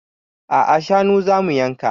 A'a shanu zamu yanka